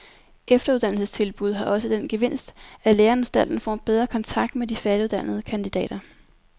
Efteruddannelsestilbud har også den gevinst, at læreanstalten får en bedre kontakt med de færdiguddannede kandidater.